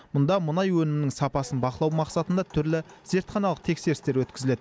мұнда мұнай өнімінің сапасын бақылау мақсатында түрлі зертханалық тексерістер өткізіледі